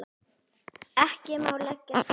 Ekki má leggja saman.